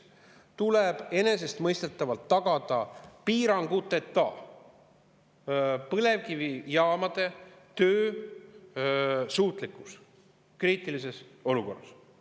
Esiteks, enesestmõistetavalt tuleb tagada põlevkivijaamade piiranguteta töösuutlikkus kriitilises olukorras.